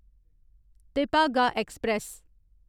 Tebhaga express